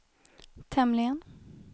tämligen